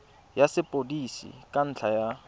ya sepodisi ka ntlha ya